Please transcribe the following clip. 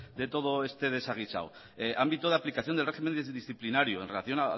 de todo este desaguisado ámbito de aplicación del régimen disciplinario en relación